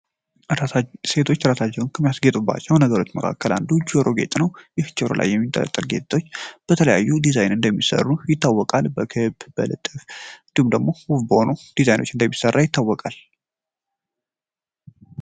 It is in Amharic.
ሴቶች ራሳቸውን ከሚያስጌጡባቸው ነገሮች መካከል አንዱ ጆሮ ጌጥ ነው። ይህ ጆሮጌጥ ጆሮላይ የሚንጠለጠል ጌጦች በተለያዩ ዲዛይን እንደሚሰሩ ይታወቃል። በክብ፣ በልብ ቅርጽ እንዲህም ደሞ ጽሁፍ በሆኑ ዲዛይኖች እንደሚሰራ ይታወቃል።